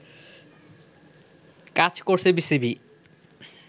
কাজ করছে বিসিবি